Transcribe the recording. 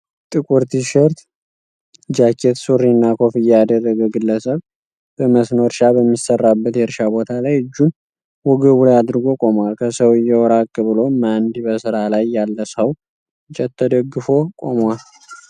ጥቁር ቲሸርት፣ ጃኬት፣ ሱሪ እና ኮፍያ ያደረገ ግለሰብ በመስኖ እርሻ በሚሰራበት የእርሻ ቦታ ላይ እጁን ወገቡ ላይ አድርጎ ቆሟል። ከሰውየው ራቅ ብሎም አንድ በስራ ላይ ያለ ሰው እንጨት ተደግፎ ቆሟል።